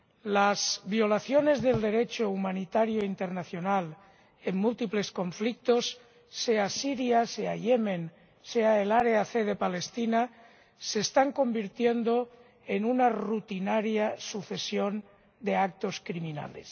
Las violaciones del Derecho humanitario internacional en múltiples conflictos —sea en Siria, sea en Yemen, sea en el área C de Palestina— se están convirtiendo en una rutinaria sucesión de actos criminales.